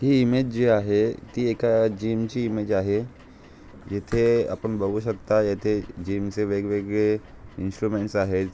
ही image जी आहे. ती एका जीम ची इमेज आहे. येथे आपण बगु शकता येथे जीम चे वेगवेगळे इन्स्ट्रूमेंट्स आहेत.